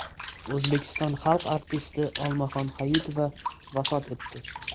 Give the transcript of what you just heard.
O‘zbekiston xalq artisti Olmaxon Hayitova vafot etdi.